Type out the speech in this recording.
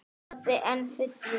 Pabbi enn fullur.